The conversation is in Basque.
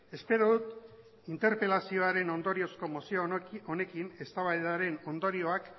espero dut interpelazioaren ondoriozko mozio honekin eztabaidaren ondorioak